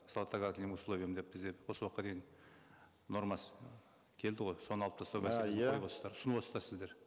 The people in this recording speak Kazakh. с отлагательным условием деп бізде осы уақытқа дейін нормасы келді ғой соны алып тастау мәселесін а иә түсініп отырсыздар сіздер